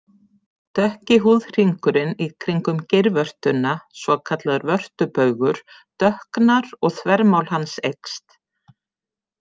Dökki húðhringurinn í kringum geirvörtuna, svokallaður vörtubaugur dökknar og þvermál hans eykst.